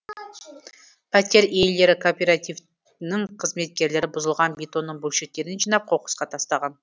пәтер иелері кооперативінің қызметкерлері бұзылған бетонның бөлшектерін жинап қоқысқа тастаған